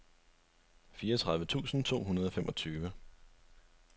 fireogtredive tusind to hundrede og femogtyve